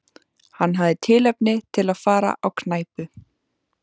Hann hafði tilefni til að fara á knæpu.